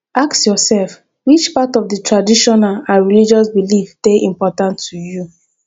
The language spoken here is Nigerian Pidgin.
ask yourself which part of di traditional and religious belief de important to you